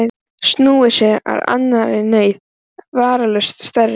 Snúið sér að annarri neyð, vafalaust stærri.